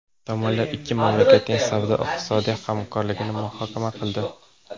Tomonlar ikki mamlakatning savdo-iqtisodiy hamkorligini muhokama qildi.